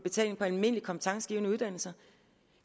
almindelige kompetencegivende uddannelser